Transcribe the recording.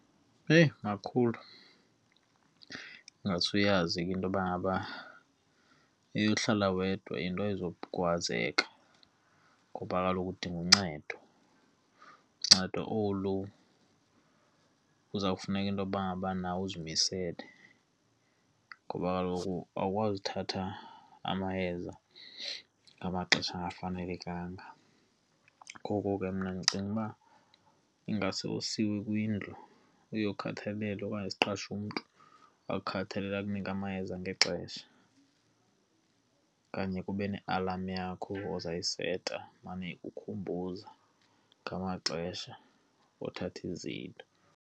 Eyi! Makhulu ingase uyazi ke intoba ngaba eyokuhlala wedwa into ayizukwazeka ngoba kaloku udinga uncedo, ncedo olu luza kuzawufuneka intoba ngabana uzimisele ngoba kaloku awukwazi uthatha amayeza ngamaxesha angafanelekanga. Ngoko ke mna ndicinga uba ingase usiwe kwindlu, uyokhathalelwa okanye siqashe umntu akukhathalele, akunike amayeza ngexesha. Okanye kube ne-alarm yakho ozayiseta imane ukukhumbuza ngamaxesha othatha izinto.